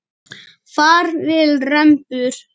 Far vel rembur.